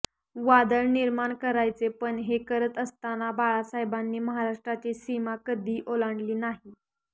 वादळ निर्माण करायचे पण हे करत असताना बाळासाहेबांनी महाराष्ट्राची सीमा कधी ओलांडली नाही